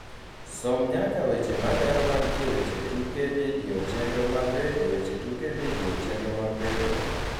som nyaka weche malero mantie weche tuke vidio chenro mag redio weche tuke vidio chenro mag redio